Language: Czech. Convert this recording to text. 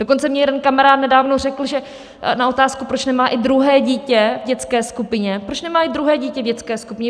Dokonce mně jeden kamarád nedávno řekl na otázku, proč nemá i druhé dítě v dětské skupině - proč nemáš i druhé dítě v dětské skupině?